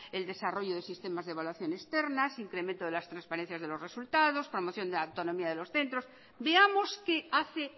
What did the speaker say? el desarrollo de sistemas de evaluación externas incrementos de las transparencias de los resultados formación de la autonomía de los centros veamos qué hace